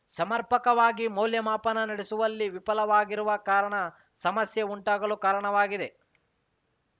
ಸಮರ್ಪಕವಾಗಿ ಮೌಲ್ಯಮಾಪನ ನಡೆಸುವಲ್ಲಿ ವಿಫಲವಾಗಿರುವ ಕಾರಣ ಸಮಸ್ಯೆ ಉಂಟಾಗಲು ಕಾರಣವಾಗಿದೆ